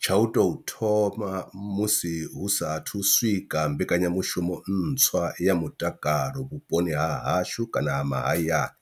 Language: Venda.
Tsha u tou thoma musi hu saathu swika mbekanyamushumo ntswa ya mutakalo vhuponi ha hashu kana ha mahayani